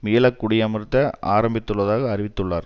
மீள குடியமர்த்த ஆரம்பித்துள்ளதாக அறிவித்துள்ளார்